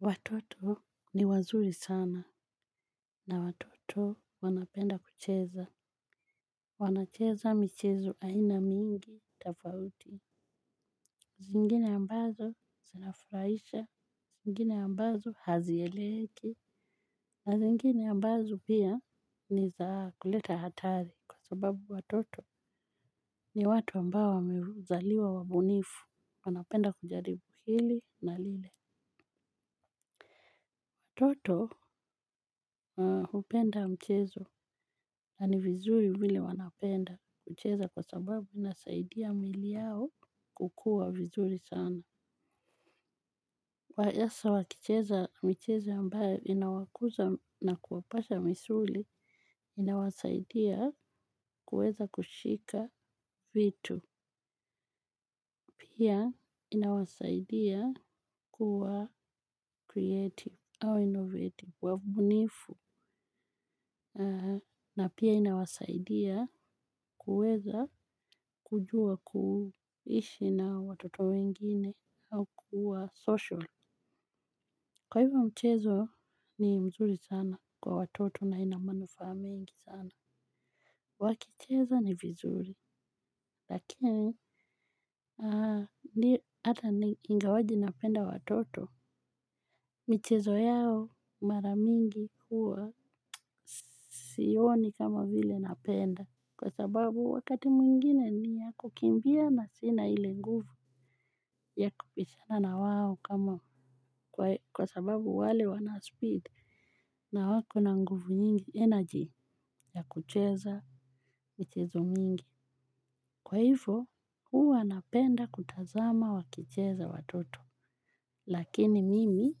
Watoto ni wazuri sana. Na watoto wanapenda kucheza. Wanacheza michezu aina mingi tofauti. Zingine ambazo zinafurahisha zingine ambazo hazieleweki na zingine ambazo pia ni za kuleta hatari kwa sababu watoto ni watu ambao wamezaliwa wabunifu wanapenda kujaribu hili na lile. Watoto hupenda mchezo na ni vizuri vile wanapenda kucheza kwa sababu inasaidia miili yao kukua vizuri sana. Kwa hasa wakicheza michezo ambayo inawakuza na kuwapasha misuli inawasaidia kuweza kushika vitu. Pia inawasaidia kuwa creative au innovative wa mbunifu. Na pia inawasaidia kuweza kujua kuishi na watoto wengine au kuwa social, kwa hivyo mchezo ni mzuri sana kwa watoto na ina manufaa mingi sana. Wakicheza ni vizuri lakini hata ni ingawaje napenda watoto. Michezo yao mara mingi huwa siioni kama vile napenda. Kwa sababu wakati mwingine ni ya kukimbia na sina ile nguvu ya kubishana na wao kama kwa sababu wale wana speed. Na wako na nguvu nyingi energy ya kucheza michezo mingi. Kwa hivyo huwa napenda kutazama wakicheza watoto. Lakini mimi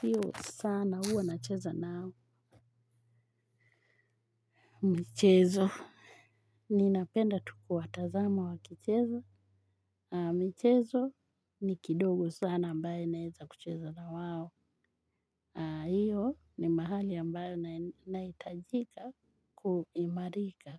sio sana huwa nacheza nao. Michezo ninapenda tu kuwatazama wakicheza. Michezo ni kidogo sana ambaye naeza kucheza na wao hiyo ni mahali ambayo naitajika kuimarika.